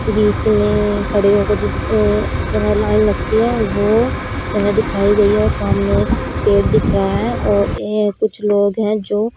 बीच में खड़े होकर जिस अ जगह लाइन लगती है वो जगह दिखाई गई है और सामने एक पेड़ दिख रहा है और ये कुछ लोग हैं जो--